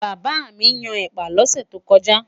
bàbá mí Yàn ẹpa lose tó koja